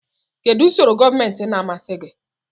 Kedu usoro gọọmentị na-amasị gị?